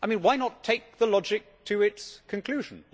I mean, why not take the logic to its conclusion?